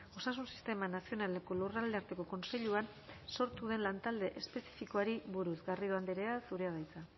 osasun sistema nazionaleko lurralde arteko kontseiluan sortu den lantalde espezifikoari buruz garrido andrea zurea da hitza